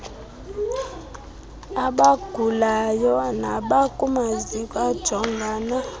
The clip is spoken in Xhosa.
abagulayo nabakumaziko ajongana